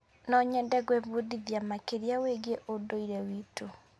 No nyende gwĩbundithia makĩria wĩgiĩ ũndũire witũ.